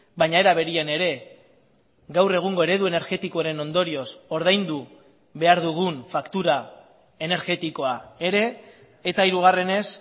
baina era berean ere gaur egungo eredu energetikoaren ondorioz ordaindu behar dugun faktura energetikoa ere eta hirugarrenez